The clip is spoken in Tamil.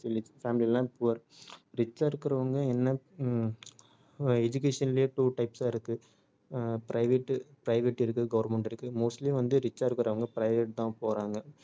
மிச்ச family எல்லாம் poor rich சா இருக்குறவங்க என்ன ஹம் அஹ் education லயே two types ஆ இருக்கு ஆஹ் private private இருக்கு government இருக்கு mostly வந்து rich ஆ இருக்குறவங்க private தான் போறாங்க